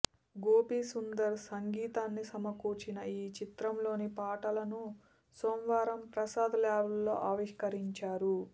గోపీసుందర్ సంగీతాన్ని సమకూర్చిన ఈ చిత్రంలోని పాటలను సోమవారం ప్రసాద్ ల్యాబ్స్లో ఆవిష్కరించారు